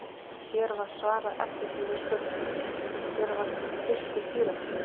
Hér var svarað eftirtöldum spurningum: Hver var fyrsti píramídinn?